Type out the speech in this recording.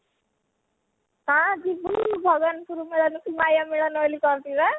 ହଁ ଯିବୁନି ଭଗବାନଙ୍କ ମେଳନ କୁ ମାୟା ମେଳା